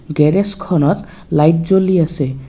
গেৰেজখনত light জ্বলি আছে।